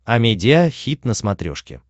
амедиа хит на смотрешке